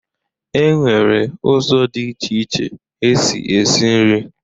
E nwere ụzọ dị iche iche esi esi nrị.